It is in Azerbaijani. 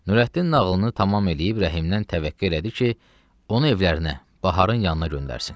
Nurəddin nağılını tamam eləyib Rəhimdən təvəqqe elədi ki, onu evlərinə, baharın yanına göndərsin.